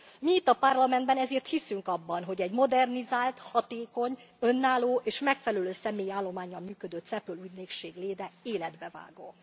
Mi itt a Parlamentben ezért hiszünk abban, hogy egy modernizált, hatékony, önálló és megfelelő személyi állománnyal működő CEPOL ügynökség léte életbevágó.